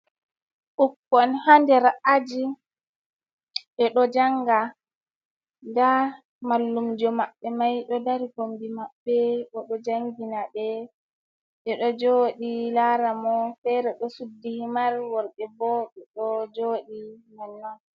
Ɓukkon hander a’aji, ɓeɗo janga nda mallumjo maɓɓe mai ɗo dari kombi maɓɓe ɓeɗo jangina ɓe, ɓeɗo joɗi lara mo fere ɗo suddi himar worɓe bo ɓeɗo joɗi nonnon.